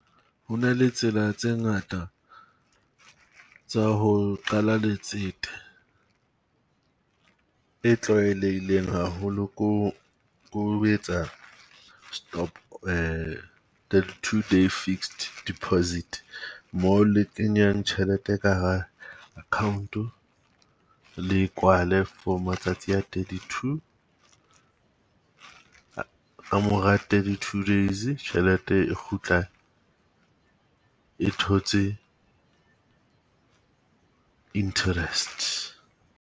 Ho na le tsela tse ngata tsa ho qala letsete. E tlwaelehileng haholo ko, ko ho etsa stop thirty two day fixed deposit. Mo le kenyang tjhelete e ka hara account-o le e kwale for matsatsi a thirty two. Ka mora thirty two days tjhelete e kgutla e thotse interest.